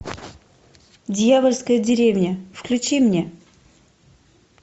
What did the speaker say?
дьявольская деревня включи мне